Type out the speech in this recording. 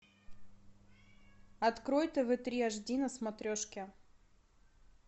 открой тв три аш ди на смотрешке